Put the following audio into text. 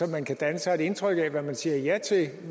man kan danne sig et indtryk af hvad man siger ja til